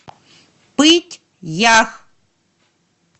пыть ях